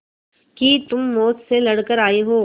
कि तुम मौत से लड़कर आयी हो